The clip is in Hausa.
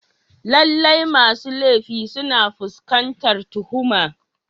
Lallai masu laifi suna fuskantar tuhuma.